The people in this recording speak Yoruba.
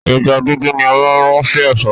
Ẹja dúdú ni a máa n rún sì Ẹ̀fọ́